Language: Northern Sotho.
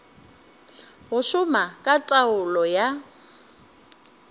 go šoma ka taolo ya